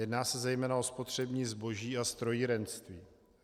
Jedná se zejména o spotřební zboží a strojírenství.